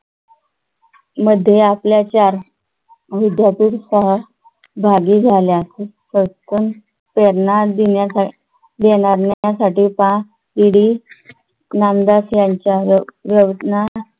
मध्ये आपल्या चार मुद्यातील सहभागी झाल्या. पटकन प्रेरणा देण्या देण्यासाठी पाहिली नामदास यांच्या योजना